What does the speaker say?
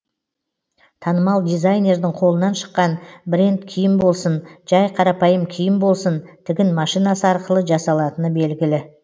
танымал дизайнердің қолынан шыққан бренд киім болсын жай қарапайым киім болсын тігін машинасы арқылы жасалатыны белгілі